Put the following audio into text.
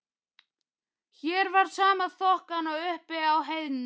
Hér var sama þokan og uppi á heiðinni.